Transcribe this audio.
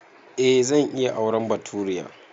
Eh zan iya auren baturiya